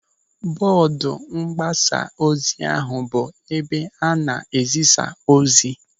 Bọọdu mgbasaozi ahụ bụ ebe a na-ezisa ozi.